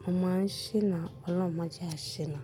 mo máa ń ṣìnà. Ọlọ́un mó jẹ a ṣìnà.